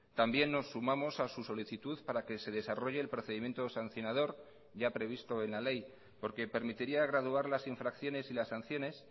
también nos sumamos a su solicitud para que se desarrolle el procedimiento sancionador ya previsto en la ley porque permitiría graduar las infracciones y las sanciones